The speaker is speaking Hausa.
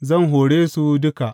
Zan hore su duka.